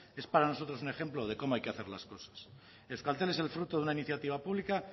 es para nosotros un ejemplo de cómo hay que hacer las cosas euskaltel es el fruto de una iniciativa pública